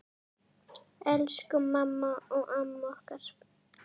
Elsku mamma og amma okkar.